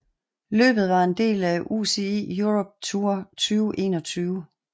Løbet var en del af UCI Europe Tour 2021